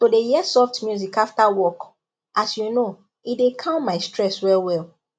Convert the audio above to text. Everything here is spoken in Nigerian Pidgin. to dey hear soft music after work as you know e dey calm my stress well well